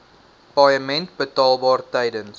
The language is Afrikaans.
paaiement betaalbaar tydens